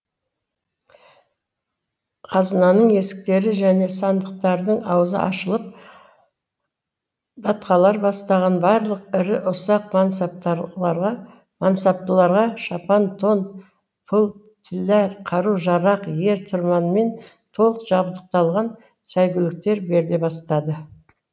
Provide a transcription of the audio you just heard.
қазынаның есіктері және сандықтардың аузы ашылып датқалар бастаған барлық ірі ұсақ мансаптыларға шапан тон пұл тиллә қару жарақ ер тұрманмен толық жабдықталған сәйгүліктер беріле бастады